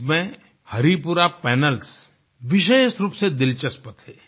इसमें हरिपुरा पैनल्स विशेष रूप से दिलचस्प थे